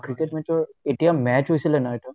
cricket match ৰ এতিয়া match হৈছিলে ন এইটো